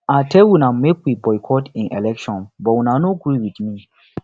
i tell una make we boycott im election but una no gree with me